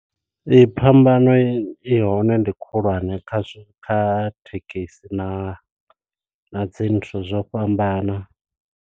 Ee phambano i hone ndi khulwane kha zwa kha thekhisi na na dzi nthu zwo fhambana.